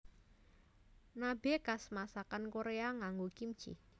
Nabe khas masakan Korea nganggo kimchi